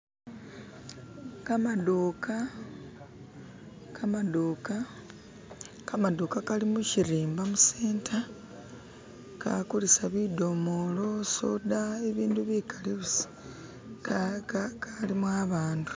kama'duka, kama'duka, kama'duka kali mu'shirimba mu'senta kaa'kulisa bi'domolo, soda, i'bindu bi'kali busa ka-ka ka'limu a'bandu